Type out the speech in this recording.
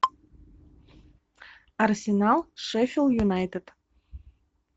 арсенал шеффилд юнайтед